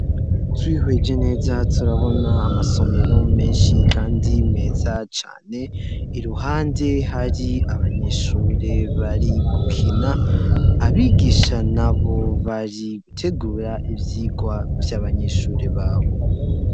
Twihweje neza turabona amasomero menshi kandi meza cane, iruhande hari abanyeshure bari gukina abigisha nabo bari gutegura ivyigwa vy'abanyeshure babo.